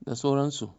da sauransu.